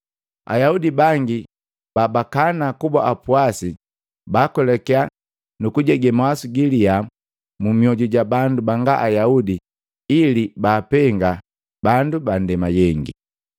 Ayaudi bangi ba bakana kuba apwasi baakwelakia nukujege mawasu galia mumioju ja bandu banga Ayaudi ili baapenga bandu ba ndema yengi.